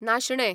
नाशणें